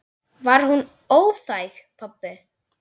Var hún óþæg, pabbi?